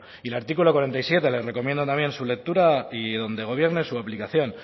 y el artículo cuarenta y siete le recomiendo también su lectura y donde gobierne su aplicación